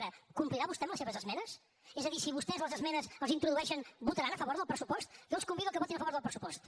ara complirà vostè amb les seves esmenes és a dir si vostès les esmenes les introdueixen votaran a favor del pressupost jo els convido a que votin a favor del pressupost